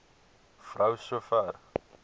vrou so ver